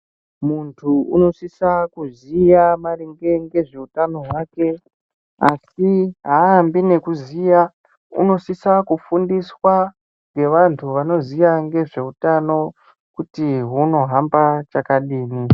Muntu unosise kuziwa maringe ngezvehutano hwake asi haambi nekuziwa unosise kufundiswa ngevanhu vanoziwa nezvehutano kuti hunohamba chakadini.